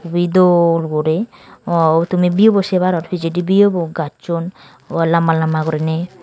ibi dol guri tumi aw view bu sey paror pijedi view bu gachun lamba lamba guriney.